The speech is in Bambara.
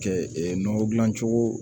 Kɛ nɔgɔ dilan cogo